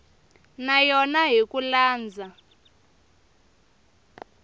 na yona hi ku landza